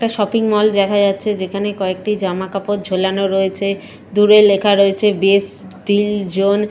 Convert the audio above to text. Shopping mall দেখা যাচ্ছে যেখানে কয়েকটি জামাকাপড় ঝোলানো রয়েছে দূরে লেখা রয়েছে বেস্ট স্কিল জোন ।